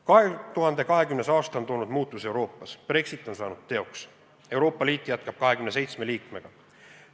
2020. aasta on toonud muutuse Euroopas: Brexit on saanud teoks, Euroopa Liit jätkab 27 liikmega.